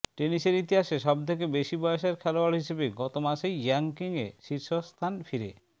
টেনিসের ইতিহাসে সব থেকে বেশি বয়সের খেলোয়াড় হিসেবে গত মাসেই র্যাঙ্কিংয়ে শীর্ষস্থান ফিরে